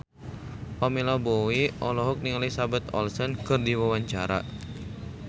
Pamela Bowie olohok ningali Elizabeth Olsen keur diwawancara